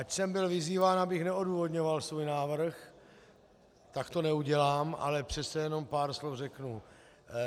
Ač jsem byl vyzýván, abych neodůvodňoval svůj návrh, tak to neudělám, ale přece jenom pár slov řeknu.